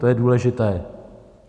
To je důležité.